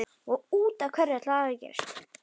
Brátt snerust flest kvöld og helgar um safnaðarstarfið.